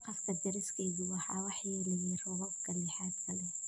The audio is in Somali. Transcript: Saqafka deriskeygu waxaa waxyeeleeyey roobabka lixaadka leh.